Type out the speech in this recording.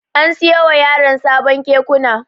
An siyo wa yaran sabon Kekuna.